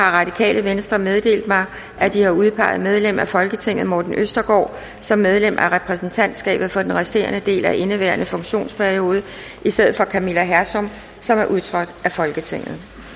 har radikale venstre meddelt mig at de har udpeget medlem af folketinget morten østergaard som medlem af repræsentantskabet for den resterende del af indeværende funktionsperiode i stedet for camilla hersom som er udtrådt af folketinget